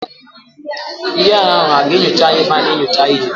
Ndị agha ahụ hà ga-enyocha anyị n'ebe a na-enyocha ihe?